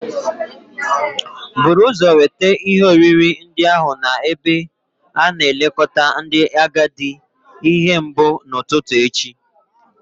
Buru ụzọ weta ihe oriri ndị ahụ n'ebe a na-elekọta ndị agadi ihe mbụ n'ụtụtụ echi